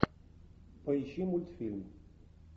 поищи мультфильм